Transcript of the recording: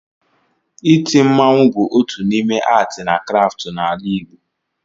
Iti mmanwụ bụ otu n' ime atị na kraftụ n'ala igbo